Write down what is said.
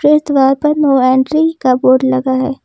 इस द्वार पर नो एंट्री का बोर्ड लगा है।